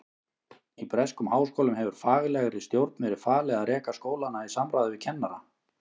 Í breskum háskólum hefur faglegri stjórn verið falið að reka skólana í samráði við kennara.